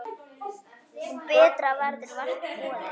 Betra verður vart boðið.